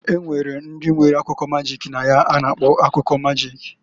Enwere ndi nwere akụkọ magik na ya a na-akpọ akụkọ magik.